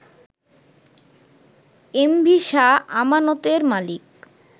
MV Shah আমানতের মালিক